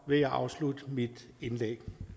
vil jeg afslutte mit indlæg